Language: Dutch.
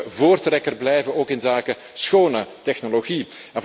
We moeten voortrekker blijven, ook inzake schone technologie.